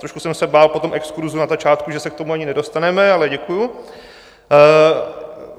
Trošku jsem se bál po tom exkurzu na začátku, že se k tomu ani nedostaneme, ale děkuji.